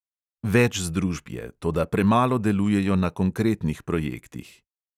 Več združb je, toda premalo delujejo na konkretnih projektih.